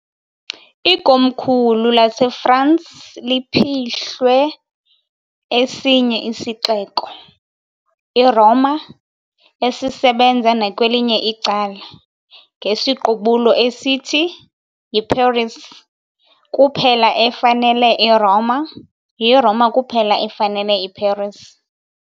Ikomkhulu laseFrance liphihlwe esinye isixeko, iRoma, esisebenza nakwelinye icala, ngesiqubulo esithi "YiParis kuphela efanele iRoma, yiRoma kuphela efanele iParis".